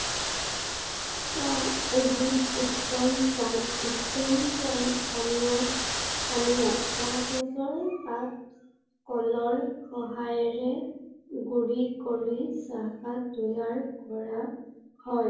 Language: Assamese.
চাহ এবিধ উত্তম প্ৰাউত্তম পানপনীয়াপনীয়া। চাহ গছৰ পাত কলৰ সহায়েৰে গুৰি কৰি চাহপাত তৈয়াৰ কৰা হয়।